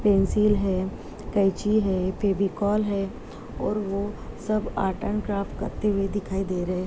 Pencil है कैंची है फेविकोल है और वो सब आर्ट एंड क्राफ्ट करते हुए दिखाई दे रहे हैं।